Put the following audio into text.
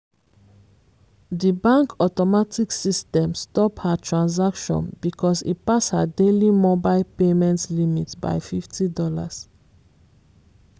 di bank automatic system stop her transaction because e pass her daily mobile payment limit by $50